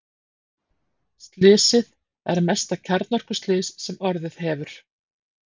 Slysið er mesta kjarnorkuslys sem orðið hefur.